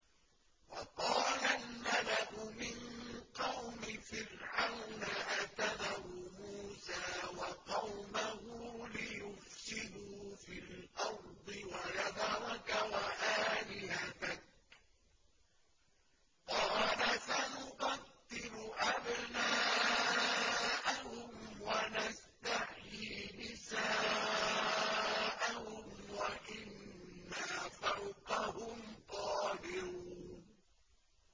وَقَالَ الْمَلَأُ مِن قَوْمِ فِرْعَوْنَ أَتَذَرُ مُوسَىٰ وَقَوْمَهُ لِيُفْسِدُوا فِي الْأَرْضِ وَيَذَرَكَ وَآلِهَتَكَ ۚ قَالَ سَنُقَتِّلُ أَبْنَاءَهُمْ وَنَسْتَحْيِي نِسَاءَهُمْ وَإِنَّا فَوْقَهُمْ قَاهِرُونَ